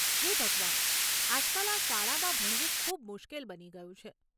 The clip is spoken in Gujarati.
હે ભગવાન, આજકાલ આ શાળામાં ભણવું ખૂબ મુશ્કેલ બની ગયું છે.